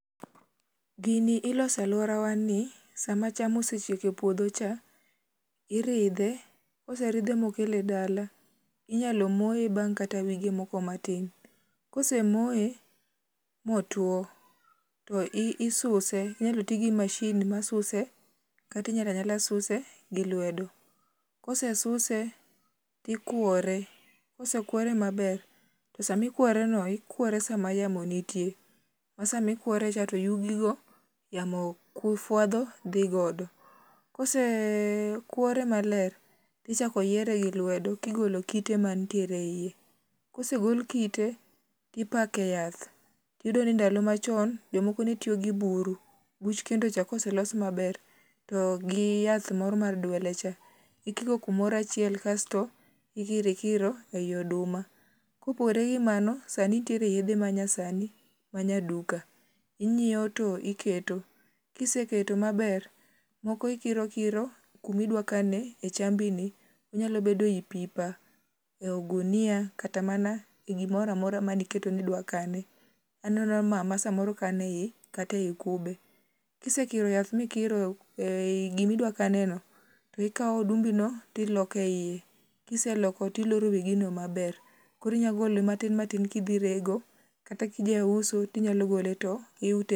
Gini iloso e alworawa ni, sama cham osechiek e puodho cha, iridhe. Ka oseridhe ma okele dala, inyalo moye bang' kata wige moko matin. Kose moye, motwo, to i isuse. Inyalo ti gi machine masuse, kata inyalo anyala suse gi lwedo. Kosesuse, tikwore. Kosekwore maber, to sama ikwore no, ikwore sama yamo nitie. Ma sama ikwore cha to yugi go yamo fwadho, dhi godo. Kose kwore maler, tichako yiere gi lwedo, ka igolo kite manitiere e iye. Kosego kite, to ipake yath. Iyudo ni ndalo machon jomoko ne tiyo gi buru. Buch kendo cha ka oselos maber, to giyath moro mar dwele cha, ikiko kumoro achiel, kasto ikiro ikiro ei oduma. Kopogore gi mano, sani nitiere yiedhe ma nyasani, ma nyaduka. Inyiewo to iketo. Kiseketo maber, moko ikiro ikiro kuma idwa kane e chambi ni. Onyalo bedo i pipa, ei gunia, kata mana e gimoro amora mane iketo ni idwa kane. Aneno mama samoro kane i kata ei kube. Kisekiro yath mikiro ei gima idwa kane no ikawo odumbino, to iloko e iye. Kiseloko to iloro wi gino maber. Koro inya gole matin matin kidhi rego, kata ka ijauso to inyalo gole to.